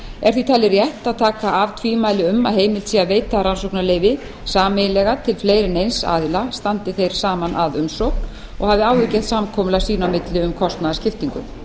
er því talið rétt að taka af tvímæli um að heimilt sé að veita rannsóknarleyfi sameiginlega til fleiri en eins aðila standi þeir saman að umsókn og hafi áður gert samkomulag sín á milli um kostnaðarskiptingu